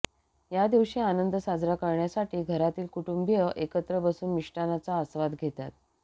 या दिवशी आनंद साजरा करण्यासाठी घरातील कुटुंबीय एकत्र बसून मिष्टान्नाचा आस्वाद घेतात